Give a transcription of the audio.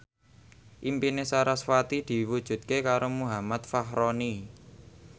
impine sarasvati diwujudke karo Muhammad Fachroni